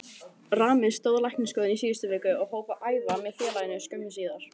Rami stóðst læknisskoðun í síðustu viku og hóf að æfa með félaginu skömmu síðar.